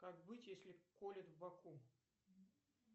как быть если колет в боку